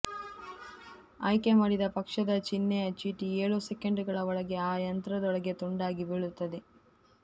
ಆಯ್ಕೆ ಮಾಡಿದ ಪಕ್ಷದ ಚಿನ್ಹೆಯ ಚೀಟಿ ಏಳು ಸೆಕೆಂಡ್ ಗಳ ಒಳಗೆ ಆ ಯಂತ್ರದೊಳಗೆ ತುಂಡಾಗಿ ಬೀಳುತ್ತದೆ